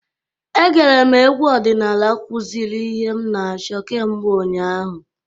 Egere m egwu ọdịnala kwụziri ihe m na-achọ kemgbe ụnyaahụ.